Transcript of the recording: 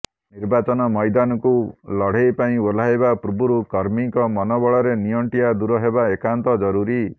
ନିର୍ବାଚନ ମଇଦାନକୁ ଲଢେ଼ଇ ପାଇଁ ଓହ୍ଲାଇବା ପୂର୍ବରୁ କର୍ମୀଙ୍କ ମନୋବଳରେ ନିଅଣ୍ଟିଆ ଦୂର ହେବା ଏକାନ୍ତ ଜରୁରୀ